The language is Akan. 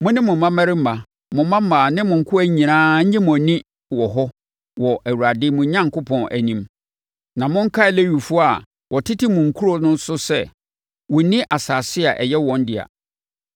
Mo ne mo mmammarima, mo mmammaa ne mo nkoa nyinaa nnye mo ani wɔ hɔ wɔ Awurade, mo Onyankopɔn, anim. Na monkae Lewifoɔ a wɔtete mo nkuro so no sɛ, wɔnni asase a ɛyɛ wɔn dea.